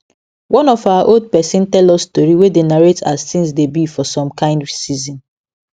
one of our old person tell us tori wey dey narrate as things dey be for some kind season